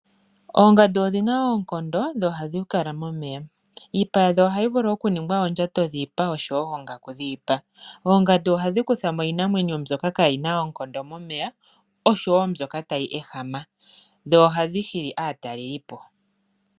Oongadu odhina wo oonkondo dho ohadhi kala momeya . Iipa yadho ohayi vulu okuningwa oondjato dhiipa oshowo oongaku dhiipa. Oongadu ohadhi kutha mo iinamwenyo mbyoka kaayina oonkondo momeya oshowo ndjoka tayi ehama dho ohadhi hili aatalelipo.